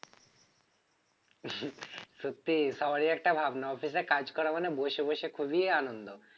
সত্যি সবারই একটা ভাবনা office এ কাজ করা মানে বসে বসে খুবই আনন্দ